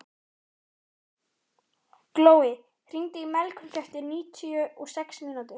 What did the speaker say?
Glói, hringdu í Melkorku eftir níutíu og sex mínútur.